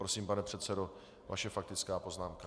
Prosím, pane předsedo, vaše faktická poznámka.